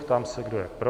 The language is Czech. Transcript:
Ptám se, kdo je pro.